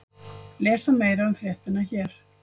Lesa meira um fréttina hér